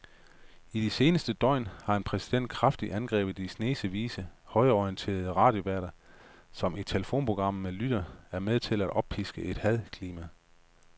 I de seneste døgn har præsidenten kraftigt angrebet de snesevis af højreorienterede radioværter, som i telefonprogrammer med lytterne er med til at oppiske et hadklima.